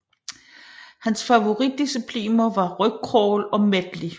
Hans favoritdiscipliner var rygcrawl og medley